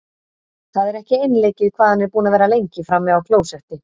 Það er ekki einleikið hvað hann er búinn að vera lengi frammi á klósetti!